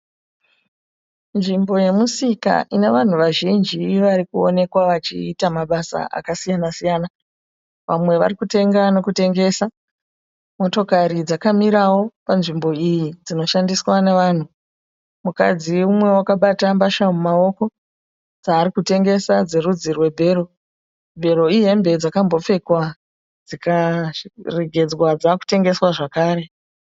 Nzvimbo yemusika ina vanhu vazhinji vari kuonekwa vachiita mabasa akasiyana siyana vamwe vari kutenga nokutengesa motokari dzakamirawo panzvimbo iyi dzinoshandiswa navanhu mukadzi mumwe wakabata mbatya mumaoko dzaari kutengesa dzerudzi rwebhero, bhero ihembe dzakambopfekwa dzikaregedzwa dzave kutengeswa zvekare.